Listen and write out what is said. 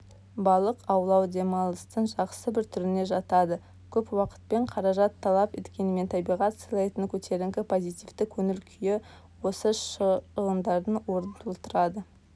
балық аулау демалыстың жақсы бір түріне жатады көп уақытпен қаражат талап еткенімен табиғат сыйлайтын көтеріңкі позитивті көңіл-күй осы шығындардың орын толтырады